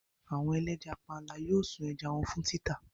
Àwọn ẹlẹ́ja panla yóò sun ẹja wọn fún títà.